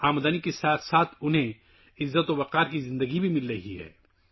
کمانے کے ساتھ ساتھ عزت کی زندگی بھی حاصل کر رہے ہیں